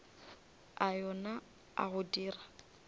a yona a go dira